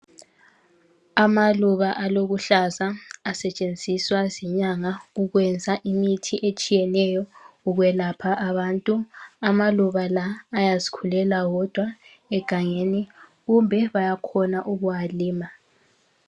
Amaluba alobuhlaza asetshenziswa zinyanga ukwenza imithi etshiyeneyo ukwelapha abantu. Amaluba la ayazkhulela wodwa egangeni kumbe bayakhona ukuwalima.